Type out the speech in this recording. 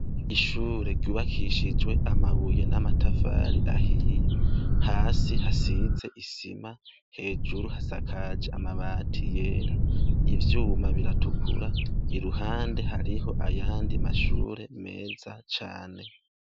Ishuri ryubakishijwe amabuye n'amatafari ahiye hasi hari isima hejuru hasakaje amabati yera ivyuma biratukura iruhande hariho ayandi mashuri meza cane.